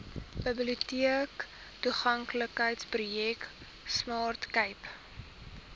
biblioteektoeganklikheidsprojek smart cape